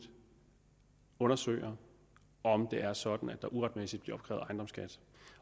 undersøger om det er sådan at der uretmæssigt bliver opkrævet ejendomsskat